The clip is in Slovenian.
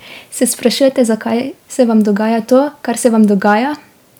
Se sprašujete, zakaj se vam dogaja to, kar se vam dogaja?